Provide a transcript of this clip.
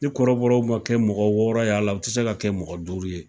Ni kɔrɔbɔrɔw ma kɛ mɔgɔ wɔɔrɔ ye a la, u ti se ka kɛ mɔgɔ duuru ye.